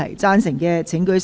贊成的請舉手。